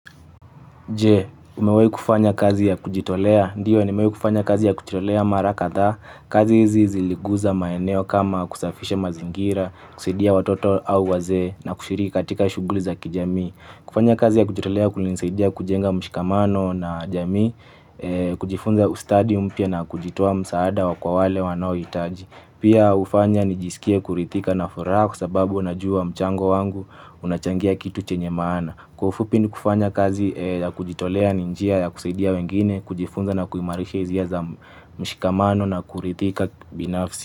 Je umewahi kufanya kazi ya kujitolea? Ndio, nimewahi kufanya kazi ya kujitolea mara kadhaa, kazi hizi ziliguza maeneo kama kusafisha mazingira, kusaidia watoto au wazee na kushiriki katika shughuli za kijamii. Kufanya kazi ya kujitolea kulinisaidia kujenga mshikamano na jamii, kujifunza ustadi mpya na kujitoa msaada wa kwa wale wanaouhitaji. Pia hufanya nijisikie kuridhika na furaha kwa sababu najua mchango wangu unachangia kitu chenye maana. Kwa ufupi ni kufanya kazi ya kujitolea ni njia ya kusaidia wengine, kujifunza na kuimarisha hisia za mshikamano na kuridhika binafsi.